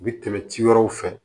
U bi tɛmɛ ci wɛrɛw fɛ